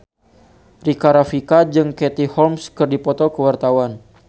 Rika Rafika jeung Katie Holmes keur dipoto ku wartawan